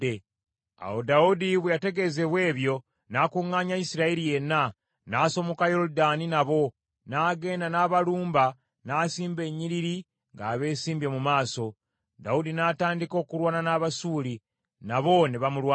Awo Dawudi bwe yategeezebwa ebyo, n’akuŋŋaanya Isirayiri yenna, n’asomoka Yoludaani nabo, n’agenda n’abalumba n’asimba ennyiriri ng’abesimbye mu maaso. Dawudi n’atandika okulwana n’Abasuuli, n’abo ne bamulwanyisa.